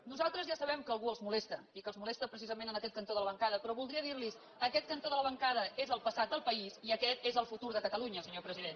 nosaltres ja sabem que a algú els molesta i que els molesta precisament en aquest cantó de la bancada però voldria dir los aquest cantó de la bancada és el passat del país i aquest és el futur de catalunya senyor president